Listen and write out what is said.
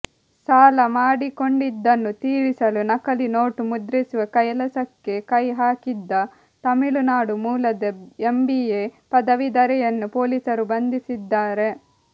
ಸಾಲ ಮಾಡಿಕೊಂಡಿದ್ದನ್ನು ತೀರಿಸಲು ನಕಲಿ ನೋಟು ಮುದ್ರಿಸುವ ಕೆಲಸಕ್ಕೆ ಕೈ ಹಾಕಿದ್ದ ತಮಿಳುನಾಡು ಮೂಲದ ಎಂಬಿಎ ಪದವೀಧರೆಯನ್ನು ಪೊಲೀಸರು ಬಂಧಿಸಿದ್ದಾರೆ